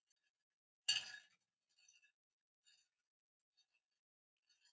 Þetta eru hans orð.